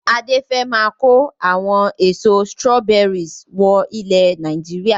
Adé fẹ máa ko àwọn èso "strawberries" wọ ilẹ̀ Nàìjíríà.